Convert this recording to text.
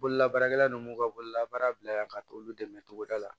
Bololabaarakɛla ninnu b'u ka bolola baara bila ka taa olu dɛmɛ cogoda la